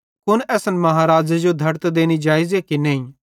कुन असन महाराज़े जो धड़त देनी जेइज़े कि नेईं